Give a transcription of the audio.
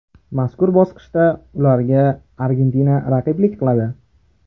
Mazkur bosqichda ularga Argentina raqiblik qiladi.